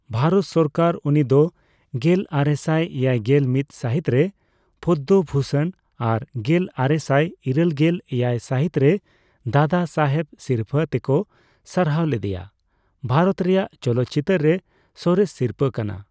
ᱵᱷᱟᱨᱚᱛ ᱥᱚᱨᱠᱟᱨ ᱩᱱᱤᱫᱚ ᱜᱮᱞᱟᱨᱮᱥᱟᱭ ᱮᱭᱟᱭᱜᱮᱞ ᱢᱤᱛ ᱥᱟᱹᱦᱤᱛ ᱨᱮ ᱯᱚᱫᱽᱫᱚ ᱵᱷᱩᱥᱚᱱ ᱟᱨ ᱜᱮᱞ ᱟᱨᱮᱥᱟᱭ ᱤᱨᱟᱹᱞᱜᱮᱞ ᱮᱭᱟᱭ ᱥᱟᱦᱤᱛ ᱨᱮ ᱫᱟᱫᱟ ᱥᱟᱦᱮᱵᱽ ᱥᱤᱨᱯᱟᱹ ᱛᱮᱠᱚ ᱥᱟᱨᱦᱟᱣ ᱞᱮᱫᱮᱭᱟ ᱼᱵᱷᱟᱨᱚᱛ ᱨᱮᱭᱟᱜ ᱪᱚᱞᱚᱛ ᱪᱤᱛᱟᱹᱨ ᱨᱮ ᱥᱚᱨᱮᱥ ᱥᱤᱨᱯᱟ ᱹ ᱠᱟᱱᱟ ᱾